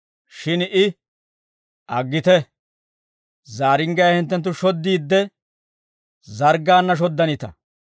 «Shin I, ‹Aggite, zaaringgiyaa hinttenttu shoddiidde, zarggaanna shoddanita.